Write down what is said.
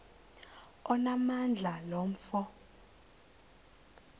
onamandla lo mfo